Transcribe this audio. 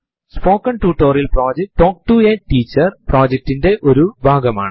spoken ടുട്ടോറിയലുകൾ talk to a teacher പ്രൊജക്റ്റിറ്റിന്റെ ഭാഗമാണ്